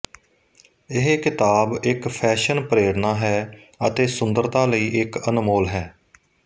ਇਹ ਕਿਤਾਬ ਇੱਕ ਫੈਸ਼ਨ ਪ੍ਰੇਰਣਾ ਹੈ ਅਤੇ ਸੁੰਦਰਤਾ ਲਈ ਇੱਕ ਅਨਮੋਲ ਹੈ